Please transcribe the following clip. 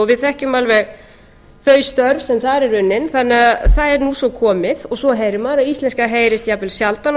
við þekkjum alveg þau störf sem þar eru unnin þannig að það er nú svo komið og svo heyrir maður að íslenska heyrist jafnvel sjaldan